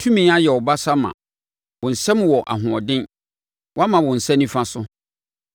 Tumi ayɛ wo basa ma; wo nsam wɔ ahoɔden, wama wo nsa nifa so.